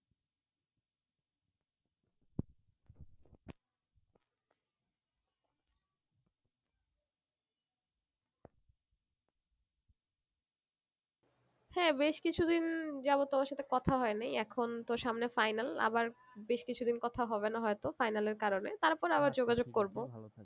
হ্যাঁ বেশ কিছু দিন যেমন তোমার সাথে কথা হয়ে নাই এখন তো সামনে final আবার বেশ কিছু দিন কথা হবে না হয়তো final এর কারণে তারপর আবার যোগাযোগ করবো